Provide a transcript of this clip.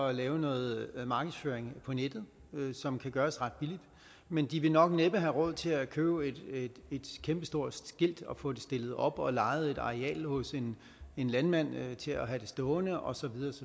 at lave noget markedsføring på nettet som kan gøres ret billigt men de vil nok næppe have råd til at købe et kæmpestort skilt og få det stillet op og få lejet et areal hos en landmand til at have det stående og så